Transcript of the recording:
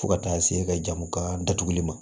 Fo ka taa se jamu ka datuguli ma